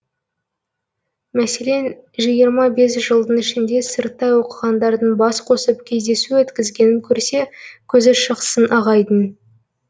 мәселен жиырма бес жылдың ішінде сырттай оқығандардың бас қосып кездесу өткізгенін көрсе көзі шықсын ағайдың